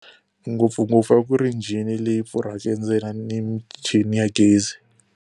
Ngopfungopfu a ku ri njhini leyi pfurhaka endzeni ni michini ya gezi.